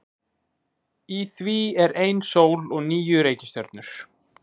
Í því er ein sól og níu reikistjörnur.